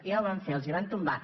ja ho van fer els la van tombar